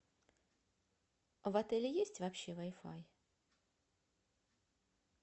в отеле есть вообще вай фай